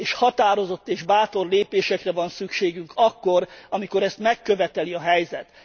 Határozott és bátor lépésekre van szükségünk akkor, amikor ezt megköveteli a helyzet.